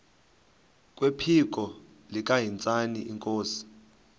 kwephiko likahintsathi inkosi